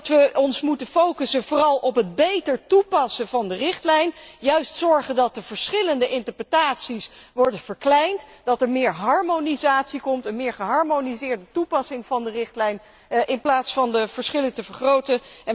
We moeten ons vooral focussen op het beter toepassen van de richtlijn, juist zorgen dat de verschillende interpretaties worden verkleind, dat er meer harmonisatie komt, een meer geharmoniseerde toepassing van de richtlijn, in plaats van de verschillen te vergroten.